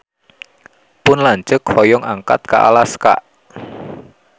Pun lanceuk hoyong angkat ka Alaska